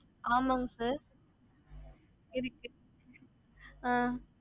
googleservices ஆமா இருக்கு